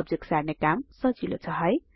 object सार्ने काम सजिलो छ है